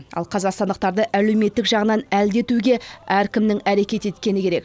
ал қазақстандықтарды әлеуметтік жағынан әлдетуге әркімнің әрекет еткені керек